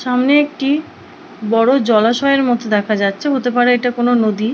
সামনে একটি বড়ো জলাশয়ের মতো দেখা যাচ্ছে হতে পারে এটা কোনো নদী।